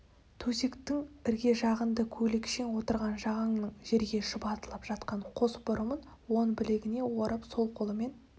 төсектің ірге жағында көйлекшең отырған жағанның жерге шұбатылып жатқан қос бұрымын оң білегіне орап сол қолымен